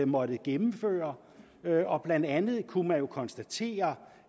måttet gennemføre og blandt andet kunne man jo konstatere